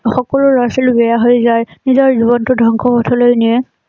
সকলো লৰা ছোৱালী বেয়া হৈ যায় নিজৰ জীৱনটো ধ্বংসৰ পথলৈ নিয়ে